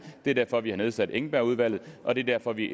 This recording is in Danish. det er derfor vi har nedsat engbergudvalget og det er derfor vi